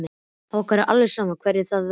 Okkur er alveg sama hverjir það verða.